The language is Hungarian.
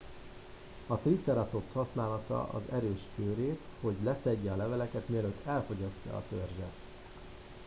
a triceratops használhatta az erős csőrét hogy leszedje a leveleket mielőtt elfogyasztja a törzset